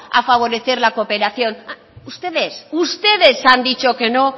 a favorecer la cooperación ustedes ustedes han dicho que no